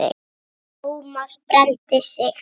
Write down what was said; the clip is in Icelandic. Thomas brenndi sig.